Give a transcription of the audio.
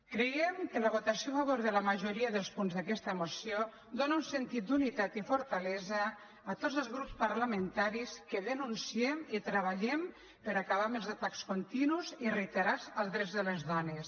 creiem que la votació a favor de la majoria dels punts d’aquesta moció dóna un sentit d’unitat i fortalesa a tots els grups parlamentaris que denunciem i treballem per acabar amb els atacs continus i reiterats als drets de les dones